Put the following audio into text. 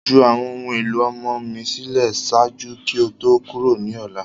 Ju awọn ohun elo ọmọ mi silẹ ṣaaju ki o to kuro ni ọla!